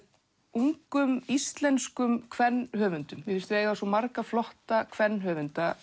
ungum íslenskum kvenhöfundum mér finnst við eiga svo marga flotta